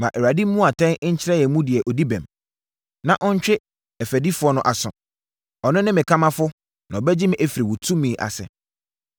Ma Awurade mmu atɛn nkyerɛ yɛn mu deɛ ɔdi bem, na ɔntwe ɛfɔdifoɔ no aso. Ɔno ne me kamafoɔ, na ɔbɛgye me afiri wo tumi ase.”